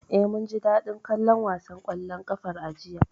Eh, mun ji daɗin kallon wasan ƙwallon ƙafar a jiya.